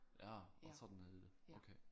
Ja var sådan det hed okay